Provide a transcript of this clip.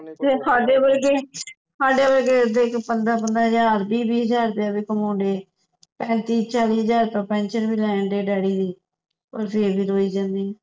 ਤੇ ਸਾਡੇ ਵਰਗੇ ਸਾਡੇ ਵਰਗੇ ਦੇਖ ਪੰਦਰਾਂ ਪੰਦਰਾਂ ਹਜ਼ਾਰ ਵੀਹ ਵੀਹ ਹਜ਼ਾਰ ਰੁਪਇਆ ਵੀ ਕਮਾਉਂਦੇ ਪੈਂਤੀ ਚਾਲੀ ਹਜ਼ਾਰ ਪੈਨਸ਼ਨ ਵੀ ਲੈ ਰਹੇ ਡੈਡੀ ਦੀ ਫੇਰ ਵੀ ਰੋਈ ਜਾਂਦੇ